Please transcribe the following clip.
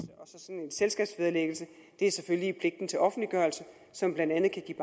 selskabs vederlæggelse er selvfølgelig i pligten til offentliggørelse som blandt andet kan